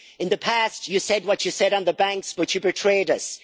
In the past you said what you said on the banks but you betrayed